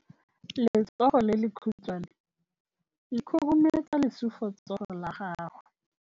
Letsogo le lekhutshwane le khurumetsa lesufutsogo la gago.